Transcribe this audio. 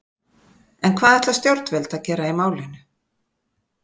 En hvað ætla stjórnvöld að gera í málinu?